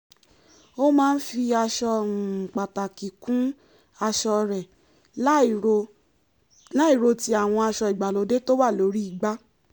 ó máa ń fi aṣọ um pàtàkì kún aṣọ rẹ̀ láìro láìro ti àwọn aṣọ ìgbàlóde tó wà lórí igbá